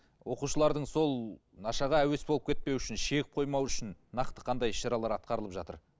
оқушылардың сол нашаға әуес болып кетпеуі үшін шегіп қоймауы үшін нақты қандай іс шаралар атқарылып жатыр